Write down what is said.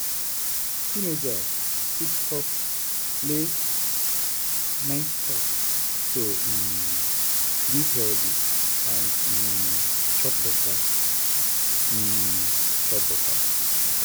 teenagers fit stop late-night chop to um live healthy and um chop better. um chop better.